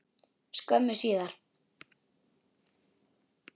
skömmu síðar.